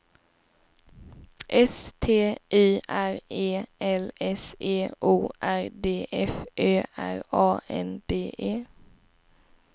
S T Y R E L S E O R D F Ö R A N D E